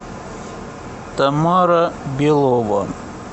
тамара белова